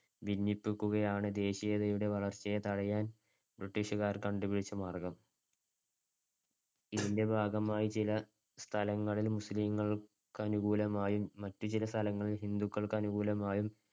ഭിന്നിപ്പിക്കുക ആണ് ദേശീയതയുടെ വളര്‍ച്ചയെ തടയാൻ ബ്രിട്ടീഷുകാർ കണ്ടുപിടിച്ച മാർഗ്ഗം. ഇതിൻടെ ഭാഗമായി ചില സ്ഥലങ്ങളിൽ മുസ്ലിങ്ങൾക്കനുകൂലമായും മറ്റു ചില സ്ഥലങ്ങളിൽ ഹിന്ദുക്കൾക്കനുകൂലമായും